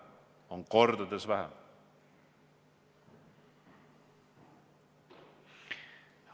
Seda on kordades vähem!